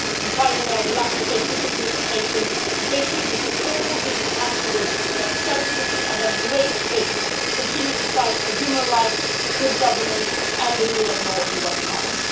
And finally, I would like to take this occasion to pay tribute to all the activists that selflessly and at great risk continue to fight for human rights, good governance and the rule of law in Guatemala.